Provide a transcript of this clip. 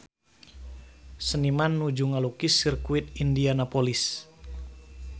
Seniman nuju ngalukis Sirkuit Indianapolis